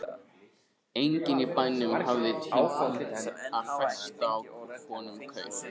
Enginn í bænum hafði tímt að festa á honum kaup.